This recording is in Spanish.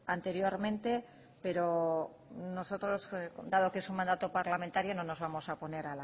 anteriormente pero nosotros dado que es un mandato parlamentario no nos vamos a oponer